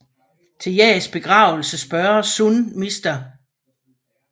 Til Jaes begravelse spørger Sun Mr